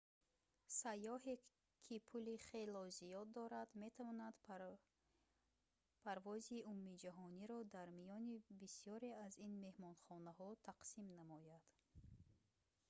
сайёҳе ки пули хело зиёд дорад метавонад парвози умумиҷаҳониро дар миёни бисёре аз ин меҳмонхонаҳо тақсим намояд